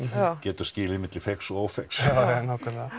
getur skilið milli feigs og ófeigs jájá nákvæmlega